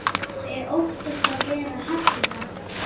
Þau óttast að vera hafnað.